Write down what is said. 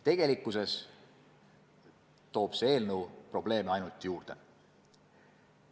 Tegelikkuses toob see eelnõu probleeme ainult juurde.